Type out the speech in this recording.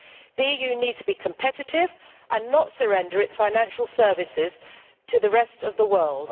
The EU needs to be competitive and not surrender its financial services to the rest of the world.